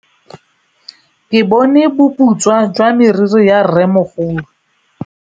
Ke bone boputswa jwa meriri ya rrêmogolo.